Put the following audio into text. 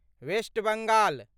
West Bengal